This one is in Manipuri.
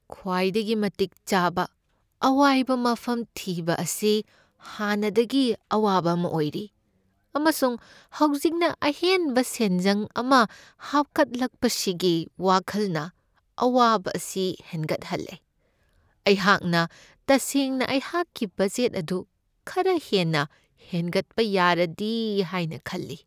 ꯈ꯭ꯋꯥꯏꯗꯒꯤ ꯃꯇꯤꯛ ꯆꯥꯕ ꯑꯋꯥꯏꯕ ꯃꯐꯝ ꯊꯤꯕ ꯑꯁꯤ ꯍꯥꯟꯅꯗꯒꯤ ꯑꯋꯥꯕ ꯑꯃ ꯑꯣꯏꯔꯤ, ꯑꯃꯁꯨꯡ ꯍꯧꯖꯤꯛꯅ ꯑꯍꯦꯟꯕ ꯁꯦꯟꯖꯪ ꯑꯃ ꯍꯥꯞꯈꯠꯂꯛꯄꯁꯤꯒꯤ ꯋꯥꯈꯜꯅ ꯑꯋꯥꯕ ꯑꯁꯤ ꯍꯦꯟꯒꯠꯍꯜꯂꯦ ꯫ ꯑꯩꯍꯥꯛꯅ ꯇꯁꯦꯡꯅ ꯑꯩꯍꯥꯛꯀꯤ ꯕꯖꯦꯠ ꯑꯗꯨ ꯈꯔ ꯍꯦꯟꯅ ꯍꯦꯟꯒꯠꯄ ꯌꯥꯔꯗꯤ ꯍꯥꯏꯅ ꯈꯜꯂꯤ ꯫